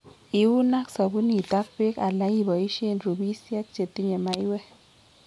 Iuun ak sabunit ak beek ala iboisie rubisiek chetinye maiwek